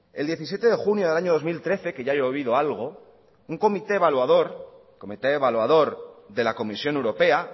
el diecisiete de junio del año dos mil trece que ya ha llovido algo un comité evaluador de la comisión europea